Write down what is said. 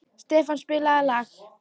Stefán, spilaðu lag.